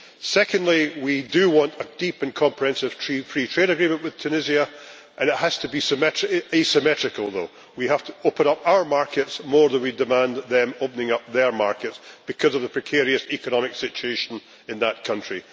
Secondly, we do want a Deep and Comprehensive Free Trade Agreement with Tunisia, but it has to be asymmetrical we have to open up our markets more than we demand them opening up their markets because of the precarious economic situation in that country.